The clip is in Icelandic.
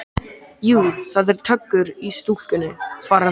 Jú, það er töggur í stúlkunni, svaraði Þóra.